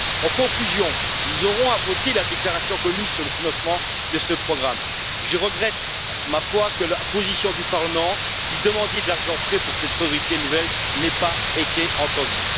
En conclusion, nous aurons à voter la déclaration commune sur le financement de ce programme, je regrette que la position du Parlement, qui demandait de l'argent frais pour cette priorité nouvelle, n'ait pas été entendue.